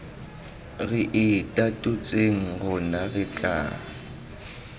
re itatotseng rona re tla